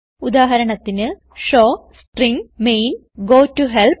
ഉദാഹരണത്തിന് showString main goToHelp